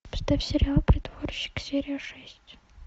поставь сериал притворщик серия шесть